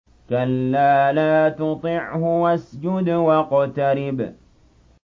كَلَّا لَا تُطِعْهُ وَاسْجُدْ وَاقْتَرِب ۩